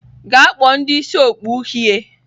Gaa kpọọ ndị isi okpu uhie!